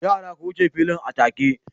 Yara! ku wuce filin atake